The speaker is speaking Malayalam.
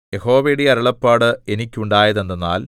യഹോവയുടെ അരുളപ്പാട് എനിക്കുണ്ടായതെന്തെന്നാൽ